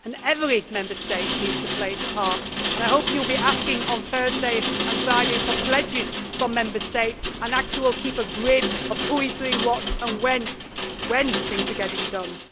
Every Member State needs to play its part and I hope you will be asking on Thursday and Friday for pledges from Member States and that you will keep a grid of who is doing what and when things are getting done.